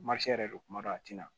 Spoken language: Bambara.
yɛrɛ don kuma dɔw a tɛna